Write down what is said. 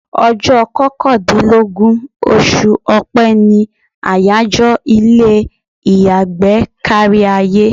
Ọjọ́ kọkàndínlógún oṣù Ọ̀pẹ ni àyájọ́ ilé ìyàgbẹ́ kárí ayé.